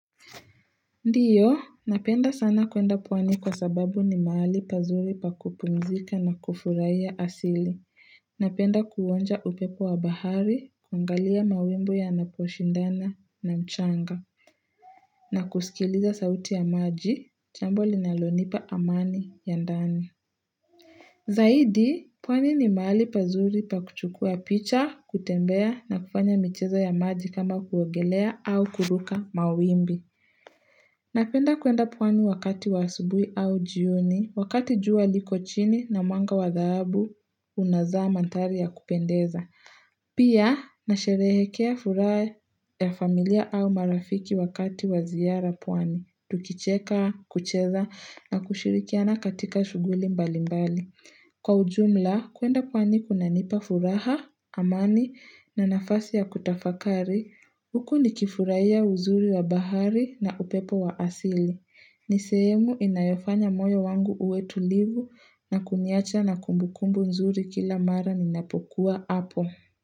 Ndiyo, napenda sana kuenda pwani kwa sababu ni mahali pazuri pa kupumzika na kufurahia asili. Napenda kuonja upepo wa bahari, kuangalia mawimbi yanaposhindana na mchanga, na kusikiliza sauti ya maji, jambo linalonipa amani ya ndani. Zaidi, pwani ni mahali pazuri pa kuchukua picha, kutembea na kufanya micheza ya maji kama kuogelea au kuruka mawimbi. Napenda kuenda pwani wakati wa asubuhi au jioni, wakati jua liko chini na mwanga wa dhabu unazama antari ya kupendeza. Pia, nasherehekea furaha ya familia au marafiki wakati wa ziara pwani. Tukicheka, kucheza na kushirikiana katika shughuli mbali mbali. Kwa ujumla, kuenda pwani kunanipa furaha, amani na nafasi ya kutafakari, huku nikifurahia ya uzuri wa bahari na upepo wa asili. Ni sehemu inayofanya moyo wangu uwe tulivu na kuniacha na kumbukumbu nzuri kila mara ninapokuwa hapo.